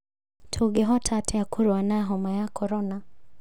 Tũngĩhota atĩa kũrũa na homa ya korona?